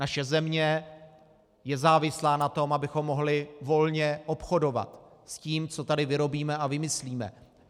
Naše země je závislá na tom, abychom mohli volně obchodovat s tím, co tady vyrobíme a vymyslíme.